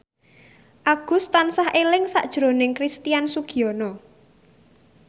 Agus tansah eling sakjroning Christian Sugiono